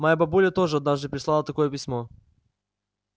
моя бабуля тоже однажды прислала такое письмо